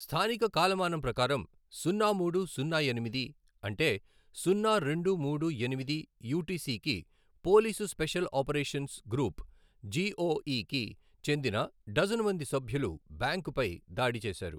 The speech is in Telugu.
స్థానిక కాలమానం ప్రకారం సున్నా మూడు సున్నా ఎనిమిది, అంటే సున్నా రెండు మూడు ఎనిమిది యూ టి సి కి police special operations group, G O ఈకి చెందిన డజను మంది సభ్యులు బ్యాంకుపై దాడి చేశారు.